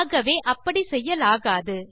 ஆகவே அப்படி செய்யலாகாது